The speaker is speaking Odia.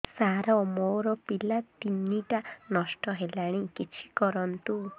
ସାର ମୋର ପିଲା ତିନିଟା ନଷ୍ଟ ହେଲାଣି କିଛି କରନ୍ତୁ